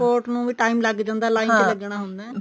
ਨੂੰ ਵੀ time ਲੱਗ ਜਾਂਦਾ ਚ ਲੱਗਣਾ ਹੁੰਦਾ